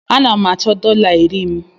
Ana m achọ dọla iri m.